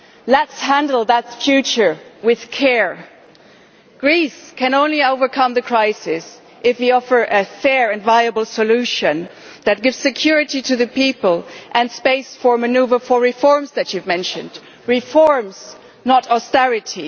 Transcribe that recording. Let us handle that future with care. Greece can only overcome the crisis if we offer a fair and viable solution that gives security to the people and space for manoeuvre for the reforms that you have mentioned reforms, not austerity.